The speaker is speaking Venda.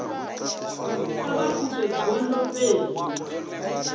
kha vha pfuke gondo fhedzi